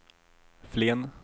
Flen